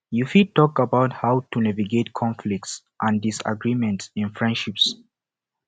you fit talk about how to navigate conflicts and disagreements in friendships